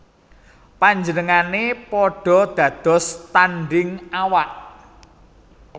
Panjenengané padha dados tandhing awak